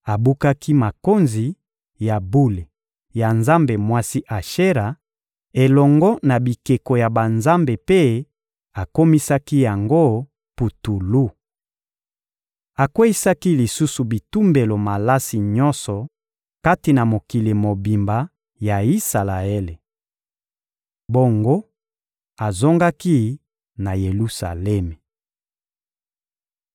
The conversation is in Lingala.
Abukaki makonzi ya bule ya nzambe mwasi Ashera elongo na bikeko ya banzambe mpe akomisaki yango putulu. Akweyisaki lisusu bitumbelo malasi nyonso kati na mokili mobimba ya Isalaele. Bongo, azongaki na Yelusalemi. (2Ba 22.3-7)